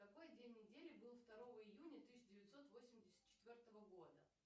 какой день недели был второго июня тысяча девятьсот восемьдесят четвертого года